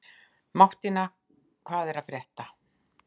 Mattína, hvað er að frétta?